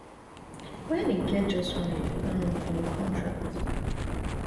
wen e get just one year um for im contract